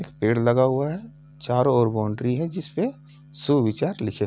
पेड़ लगा हुआ है । चारो ओर बाउंड्री है | जिसपे सुविचार लिखे --